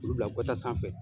Olu bila gata sanfɛ